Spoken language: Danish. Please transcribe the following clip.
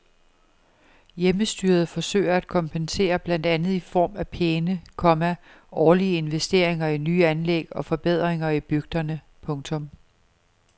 Hjemmestyret forsøger at kompensere blandt andet i form af pæne, komma årlige investeringer i nye anlæg og forbedringer i bygderne. punktum